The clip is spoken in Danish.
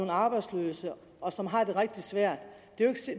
arbejdsløse og som har det rigtig svært